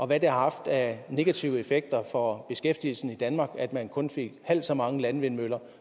hvad det har haft af negativ effekt for beskæftigelsen i danmark at man kun fik halvt så mange landvindmøller